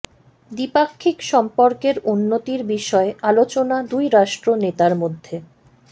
দ্বিপাক্ষিক সম্পর্কের উন্নতির বিষয়ে আলোচনা দুই রাষ্ট্র নেতার মধ্যে